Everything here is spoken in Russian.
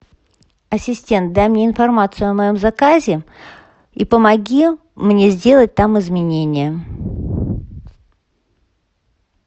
ассистент дай мне информацию о моем заказе и помоги мне сделать там изменения